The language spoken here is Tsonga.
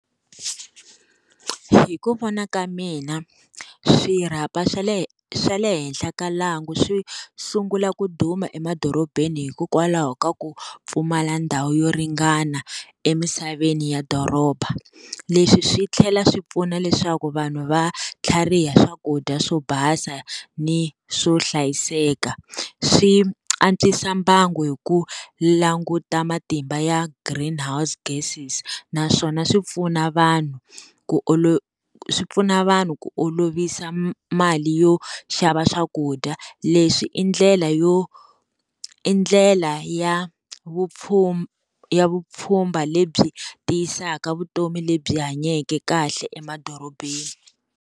Hi ku vona ka mina swirhapa swa le swa le henhla ka lwangu swi sungula ku duma emadorobeni hikokwalaho ka ku pfumala ndhawu yo ringana emisaveni ya doroba leswi swi tlhela swi pfuna leswaku vanhu va tlhariha swakudya swo basa ni swo hlayiseka swi antswisa mbangu hi ku languta matimba ya Green house gases naswona swi pfuna vanhu ku olo swi pfuna vanhu ku olovisa mali yo xava swakudya leswi i ndlela yo i ndlela ya vupfuya vupfhumba lebyi tiyisaka vutomi lebyi hanyake kahle emadorobeni.